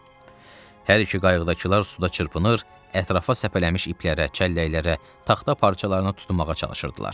Hər iki qayıqdakılar suda çırpınır, ətrafa səpələmiş iplərə, çəlləklərə, taxta parçalarına tutunmağa çalışırdılar.